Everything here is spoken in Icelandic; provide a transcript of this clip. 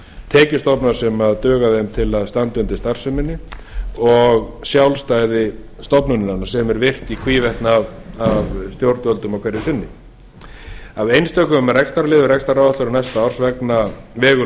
tekjustofna sem duga þeim til að standa undir starfseminni og sjálfstæði stofnunarinnar sem er virt í hvívetna af stjórnvöldum hverju sinni af einstökum rekstrarliðum rekstraráætlunar næsta árs vegur